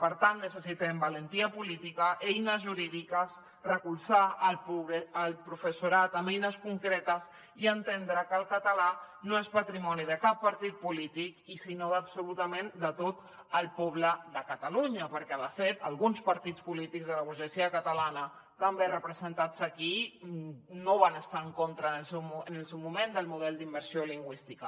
per tant necessitem valentia política eines jurídiques recolzar el professorat amb eines concretes i entendre que el català no és patrimoni de cap partit polític sinó absolutament de tot el poble de catalunya perquè de fet alguns partits polítics de la burgesia catalana també representats aquí no van estar en contra en el seu moment del model d’immersió lingüística